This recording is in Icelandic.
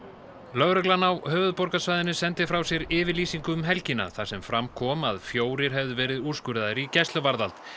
lögreglan á höfuðborgarsvæðinu sendi frá sér yfirlýsingu um helgina þar sem fram kom að fjórir hefðu verið úrskurðaðir í gæsluvarðhald